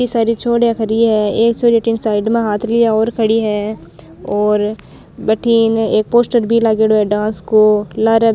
इति सारी छोरिया खड़ी है एक छोरी अठीन साइड में हाथ लिया और खड़ी है और भटीन एक पोस्टर भी लागेड़ो है डांस को लारे --